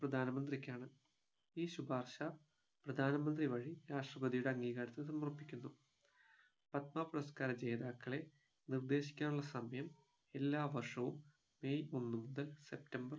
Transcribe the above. പ്രധാനമന്ത്രിക്കാണ് ഈ ശുപാർശ പ്രധാനമന്ത്രി വഴി രാഷ്ട്രപതിയുടെ അംഗീകാരത്തിന് സമർപ്പിക്കുന്നു പത്മ പുരസ്‌കാര ജേതാക്കളെ നിർദേശിക്കാനുള്ള സമയം എല്ലാ വർഷവും മെയ് ഒന്ന് മുതൽ സെപ്റ്റംബർ